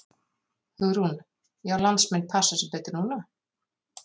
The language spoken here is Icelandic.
Hugrún: Já landsmenn passa sig betur núna?